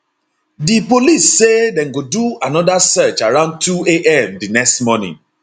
di police say dem go do anoda search around 2am di next morning